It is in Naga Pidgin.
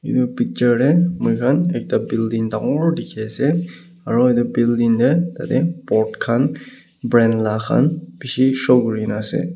edu picture de moikhan ekta building dangor dikhi ase aro edu building de tade board khan brand la khan bishi show kuri gina ase.